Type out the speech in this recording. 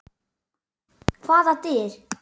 Hvaða dyr?